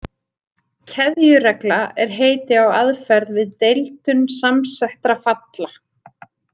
Keðjuregla er heiti á aðferð við deildun samsettra falla.